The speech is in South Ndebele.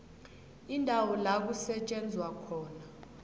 indawo la kusetjenzelwa